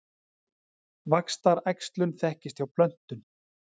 Vaxtaræxlun þekkist hjá plöntum.